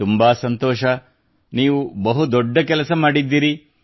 ತುಂಬಾ ಸಂತೋಷ ನೀವು ಬಹು ದೊಡ್ಡ ಕೆಲಸ ಮಾಡಿದ್ದೀರಿ